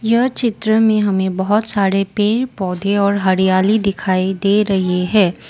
यह चित्र में हमें बहुत सारे पेड़ पौधे और हरियाली दिखाई दे रहे हैं।